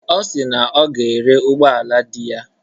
Ọ si na ọ ga-ere ụgbọala di ya.